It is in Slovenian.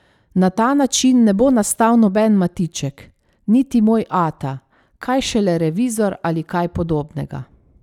Na ta način ne bo nastal noben Matiček, niti Moj ata, kaj šele Revizor ali kaj podobnega.